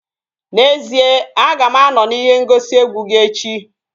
N'ezie, aga m anọ n'ihe ngosi egwu gị echi